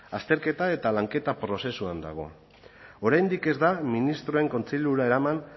azterketa eta lanketa prozesuan dago oraindik ez da ministroen kontseilura eraman